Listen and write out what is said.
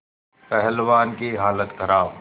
पहलवान की हालत खराब